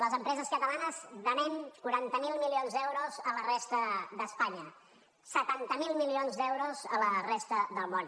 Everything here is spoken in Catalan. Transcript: les empreses catalanes venem quaranta miler milions d’euros a la resta d’espanya setanta miler milions d’euros a la resta del món